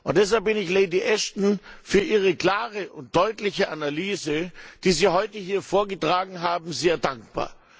Deshalb bin ich Lady Ashton für ihre klare und deutliche Analyse, die Sie heute hier vorgetragen haben, sehr dankbar.